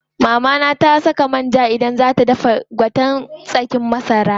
Mama na saka man ja idan zaa ta dafa gwaten tsakin masara.